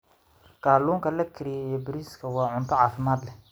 Kalluunka la kariyey iyo bariiska waa cunto caafimaad leh.